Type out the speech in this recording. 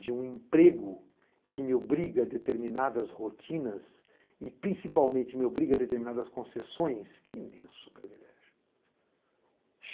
de um emprego que me obriga a determinadas rotinas e, principalmente, me obriga a determinadas concessões, que imenso privilégio.